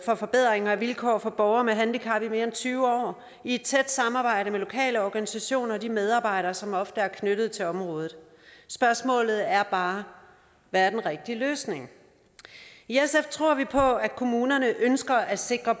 forbedringer af vilkår for borgere med handicap i mere end tyve år i et tæt samarbejde med lokale organisationer og de medarbejdere som ofte er knyttet til området spørgsmålet er bare hvad er den rigtige løsning i sf tror vi på at kommunerne ønsker at sikre